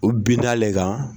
U binn'ale kan